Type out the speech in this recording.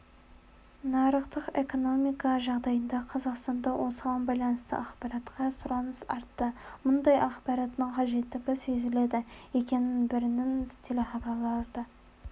нарықтық экономика жағдайында қазақстанда осыған байланысты ақпаратқа сұраныс артты мұндай ақпараттың қажеттігі сезіледі екінің бірінің телехабарларды